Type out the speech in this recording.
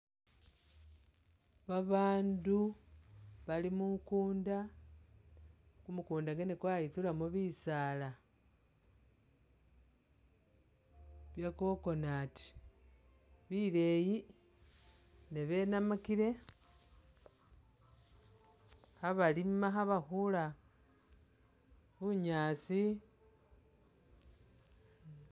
Babandu bali mukunda, kumukunda mwene kwayitsulamo bisaala bya Coconut bileyi ne benamakile khabalima khabakhula bunyaasi